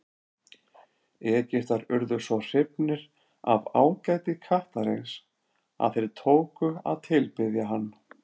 Egyptar urðu svo hrifnir af ágæti kattarins að þeir tóku að tilbiðja hann.